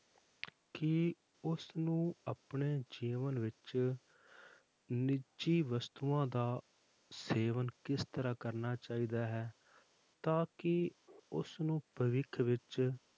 ਕਿ ਉਸਨੂੰ ਆਪਣੇ ਜੀਵਨ ਵਿੱਚ ਨਿੱਜੀ ਵਸਤੂਆਂ ਦਾ ਸੇਵਨ ਕਿਸ ਤਰ੍ਹਾਂ ਕਰਨਾ ਚਾਹੀਦਾ ਹੈ ਤਾਂ ਕਿ ਉਸਨੂੰ ਭਵਿੱਖ ਵਿੱਚ